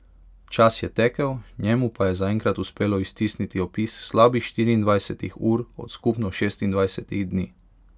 Čas je tekel, njemu pa je zaenkrat uspelo iztisniti opis slabih štiriindvajsetih ur od skupno šestindvajsetih dni.